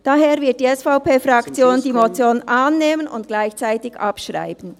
Daher wird die SVP-Fraktion die Motion annehmen und gleichzeitig abschreiben.